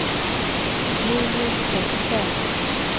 Julius Wester